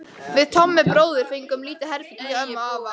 Við Tommi bróðir fengum lítið herbergi hjá afa og ömmu.